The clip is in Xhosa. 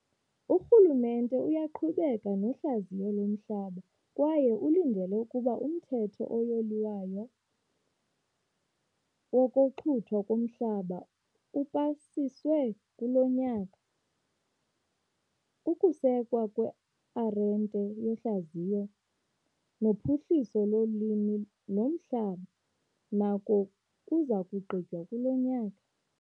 Urhulumente uyaqhubeka nohlaziyo lomhlaba kwaye ulindele ukuba uMthetho oYilwayo wokoXhuthwa koMhlaba upasiswe kulo nyaka. Ukusekwa kwe-Arhente yoHlaziyo noPhuhliso loLimo noMhlaba nako kuza kugqitywa kulo nyaka.